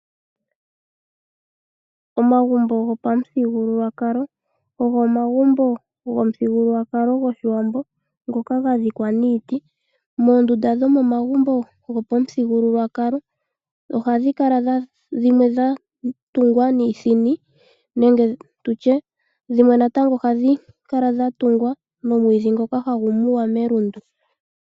Omagumbo gopa mu thigululwakalo ogo omagumbo gomu thigululwakalo goshiwambo ngoka ga dhikwa niiti. Moondunda dhomomagumbo gopa muthigululwakalo ohadhi kala dhimwe dha tulwa niithini nenge tutye dhimwe natango ohadhi kala dha tungwa nomwiidhi ngoka hagu muwa melundu.